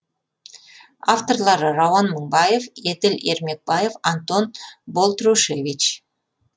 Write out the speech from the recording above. авторлары рауан мыңбаев еділ ермекбаев антон болтрушевич